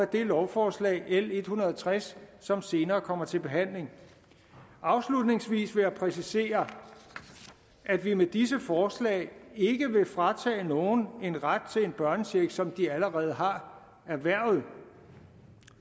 det lovforslag l en hundrede og tres som senere kommer til behandling afslutningsvis vil jeg præcisere at vi med disse forslag ikke vil fratage nogen en ret til en børnecheck som de allerede har erhvervet